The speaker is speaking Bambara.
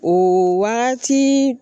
O wagati